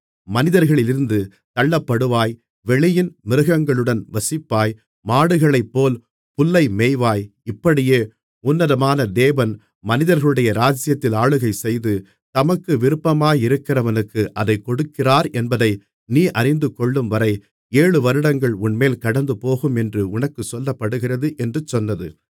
மனிதர்களிலிருந்து தள்ளப்படுவாய் வெளியின் மிருகங்களுடன் வசிப்பாய் மாடுகளைப்போல் புல்லை மேய்வாய் இப்படியே உன்னதமான தேவன் மனிதர்களுடைய ராஜ்ஜியத்தில் ஆளுகை செய்து தமக்கு விருப்பமாயிருக்கிறவனுக்கு அதைக் கொடுக்கிறாரென்பதை நீ அறிந்துகொள்ளும்வரை ஏழு வருடங்கள் உன்மேல் கடந்துபோகும் என்று உனக்குச் சொல்லப்படுகிறது என்று சொன்னது